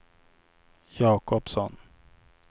Jacobsson